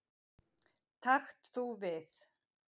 Takt þú við.